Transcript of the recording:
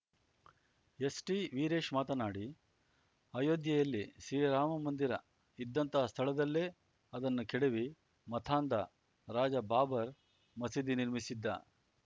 ಎಸ್‌ಟಿವೀರೇಶ್‌ ಮಾತನಾಡಿ ಅಯೋಧ್ಯೆಯಲ್ಲಿ ಶ್ರೀರಾಮ ಮಂದಿರ ಇದ್ದಂತಹ ಸ್ಥಳದಲ್ಲೇ ಅದನ್ನು ಕೆಡವಿ ಮತಾಂಧ ರಾಜ ಬಾಬರ್ ಮಸೀದಿ ನಿರ್ಮಿಸಿದ್ದ